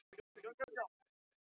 Eða var um misskilning að ræða.